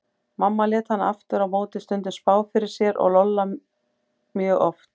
Mamma lét hana aftur á móti stundum spá fyrir sér og Lolla mjög oft.